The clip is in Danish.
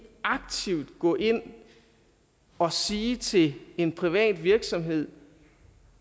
aktivt skal gå ind og sige til en privat virksomhed